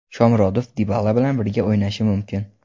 Shomurodov Dibala bilan birga o‘ynashi mumkin.